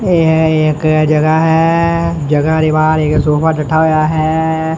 ਇਕ ਜਗਾ ਹੈ ਜਗਾ ਦੇ ਬਾਹਰ ਇਕ ਸੋਫਾ ਡੱਠਾ ਹੋਇਆ ਹੈ।